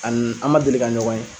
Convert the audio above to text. An ma deli ka ɲɔgɔn ye.